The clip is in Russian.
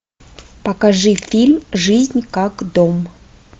покажи фильм жизнь как дом